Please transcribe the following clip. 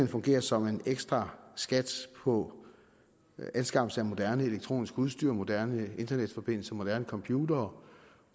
fungerer som en ekstra skat på anskaffelse af moderne elektronisk udstyr moderne internetforbindelser og moderne computere